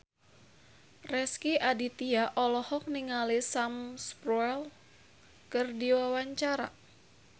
Rezky Aditya olohok ningali Sam Spruell keur diwawancara